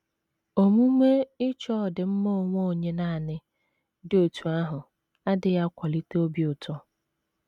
Omume ịchọ ọdịmma onwe onye nanị dị otú ahụ adịghị akwalite obi ụtọ.